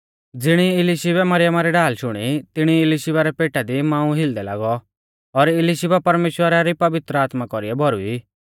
ज़िणी ई इलिशीबै मरियमा री ढाल शुणी तिणी ई इलिशीबा रै पेटा दी मांऊ हिलदै लागौ और इलिशीबा परमेश्‍वरा री पवित्र आत्मा कौरीऐ भौरुई